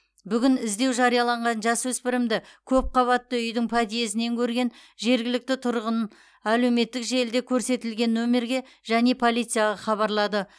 бүгін іздеу жарияланған жасөспірімді көпқабатты үйдің подъездінен көрген жергілікті тұрғын әлеуметтік желіде көрсетілген нөмірге және полицияға хабарлады